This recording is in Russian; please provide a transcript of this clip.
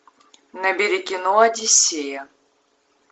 набери кино одиссея